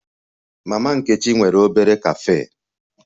Mama Nkechi nwere obere cafe